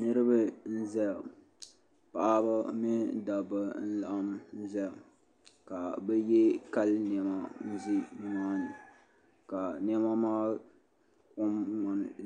Niriba n zaya paɣiba mini dabba nlaɣim zaya ka bi ye kali nɛma n zɛ nimaa ni ka nɛma maa kom